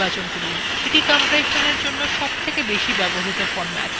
এটি compressionএর সবথেকে বেশি ব্যবহৃত ফরম্যাট